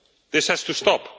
This has to stop.